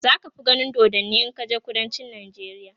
zaka fi ganin dodanni in kaje kudancin nijeriya